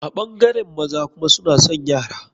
A ɓangaren maza kuma suna son yara.